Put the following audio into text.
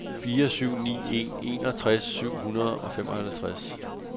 fire syv ni en enogtres syv hundrede og femoghalvtreds